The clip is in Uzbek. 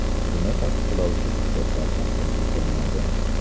Buni tasdiqlovchi hujjatlar taqdim etilmadi.